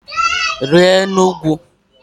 Rịa elu ugwu!